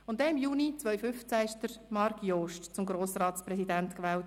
Im Juni 2015 wurde Marc Jost zum Grossratspräsidenten gewählt.